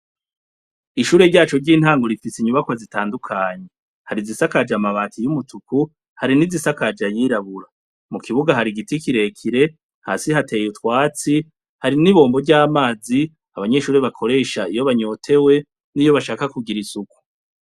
Ishure ryacu ry'intango rifise inyubakwa zitandukanye, hari izisakaja amabati y'umutuku, hari n'izisakaje ayirabura. Mu kibuga hari igiti kire kire, hasi hateye utwatsi, hari n'ibombo ry'amazi abanyeshuri bakoresha iyo banyotewe n'iyo bashaka kugira isuku.